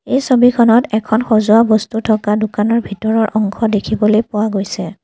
এই ছবিখনত এখন সজোৱা বস্তু থকা দোকানৰ ভিতৰৰ অংশ দেখিবলৈ পোৱা গৈছে।